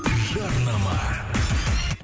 жарнама